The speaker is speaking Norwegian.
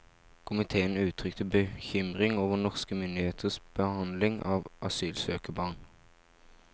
Komiteen uttrykte bekymring over norske myndigheters behandling av asylsøkerbarn.